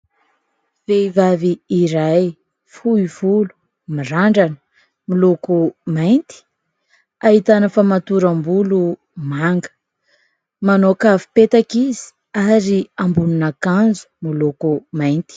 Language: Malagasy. Vehivavy iray fohy volo ; mirandrana ; miloko mainty ; ahitana famatoram-bolo manga ; manao kavi-petaka izy ary ambonin'akanjo miloko mainty.